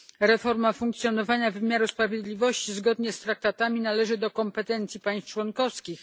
Reforma funkcjonowania wymiaru sprawiedliwości zgodnie z traktatami należy do kompetencji państw członkowskich.